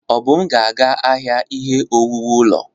Obum ga-aga n'ahịa ihe owuwu ụlọ.